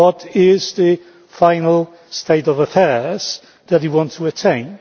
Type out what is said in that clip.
What is the final state of affairs that we want to attain?